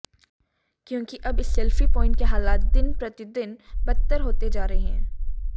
क्योंकिअब इस selfie point के हालात दिन प्रतिदिन बदतर होते जा रहे हैं